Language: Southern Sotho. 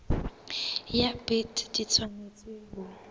ya bt di tshwanetse ho